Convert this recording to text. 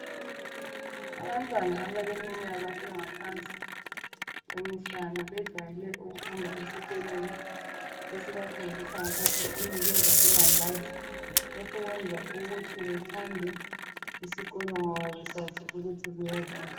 Abantwana abaleminyaka engaphansi kwemihlanu bejwayele ukuhamba esikolweni esibafundisa ngapha sibanikeza ilambazi lokhu kwenza ukuthi bethande isikolo ngoba besazi ukuthi kuyadliwa.